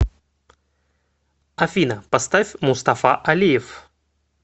афина поставь мустафа алиев